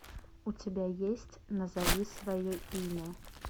у тебя есть назови свое имя